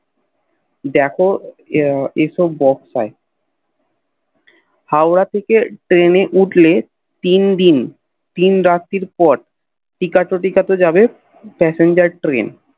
দেখ ঐসব বক্সাই হওরা থেকে ট্রেন এ উঠলে তিন দিন তিন রাত্রি পর টিকতে টিকাতে যাব Passenger Train